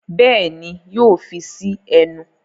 Béèni yóò fí sí ẹnu.